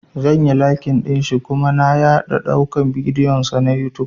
Zan yi lakin ɗinshi kuma na yaɗa dukan bidiyon sa na youtube